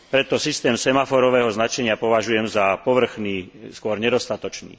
Preto systém semaforového značenia považujem za povrchný, skôr nedostatočný.